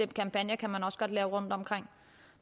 kampagner kan man også godt lave rundtomkring